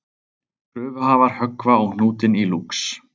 Kröfuhafar höggva á hnútinn í Lúx